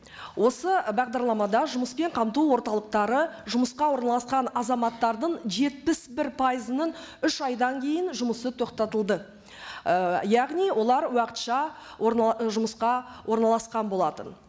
осы бағдарламада жұмыспен қамту орталықтары жұмысқа орналасқан азаматтардың жетпіс бір пайызының үш айдан кейін жұмысы тоқтатылды і яғни олар уақытша жұмысқа орналасқан болатын